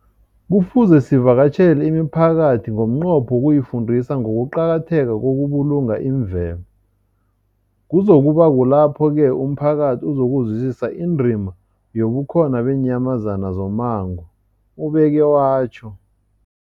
Kufuze sivakatjhele imiphakathi ngomnqopho wokuyifundisa ngokuqakatheka kokubulunga imvelo. Kuzoku ba kulapho-ke umphakathi uzokuzwisisa indima yobukhona beenyamazana zommango, ubeke watjho.